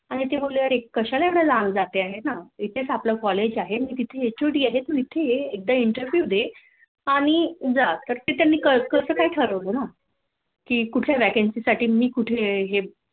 आणि ते बोलले कशाला इतके लांब जातेय इथेच आपलं College आहे मी तिथली HOD आहे तू इथे एकदा Interview दे आणि जा तर मग त्यानी कास काय ठरवलं ना? कि कुठल्या Vacancy साठी मी कुठे हे